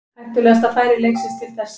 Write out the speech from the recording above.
Hættulegasta færi leiksins til þessa.